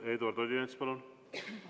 Eduard Odinets, palun!